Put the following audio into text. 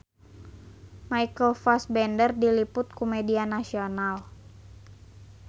Michael Fassbender diliput ku media nasional